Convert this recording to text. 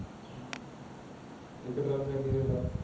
ਇਕ ਟਰਾਲੀ ਦਾ ਕਿ ਰੇਟ ਆ